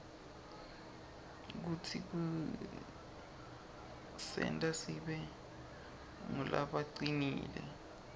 futsi kusenta sibe ngulabacinile